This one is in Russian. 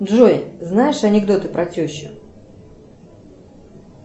джой знаешь анекдоты про тещу